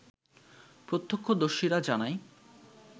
প্রত্যক্ষদর্শীরা জানায়